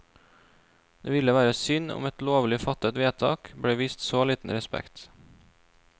Det ville være synd om et lovlig fattet vedtak ble vist så liten respekt.